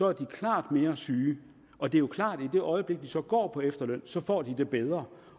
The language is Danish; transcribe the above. er klart mere syge og det er jo klart at de i det øjeblik de så går på efterløn så får det bedre